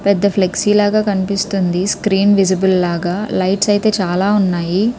పెద్ద ఫ్లెక్సీ లాగా కనిపిస్తుంది స్క్రీన్ విసిబిల్ లాగ లైట్స్ ఐతే చాలా ఉన్నాయి.